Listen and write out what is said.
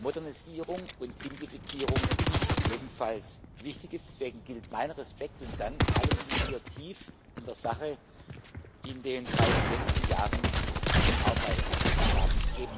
Modernisierung und Simplifizierung ebenfalls wichtig sind. Deswegen gilt mein Respekt und Dank allen, die hier in den beiden letzten Jahren tief in der Sache gearbeitet haben.